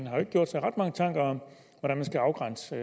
har gjort sig mange tanker om hvordan man skal afgrænse